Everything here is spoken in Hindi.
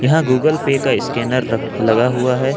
यह गूगल पे का स्कैनर लगा हुआ है।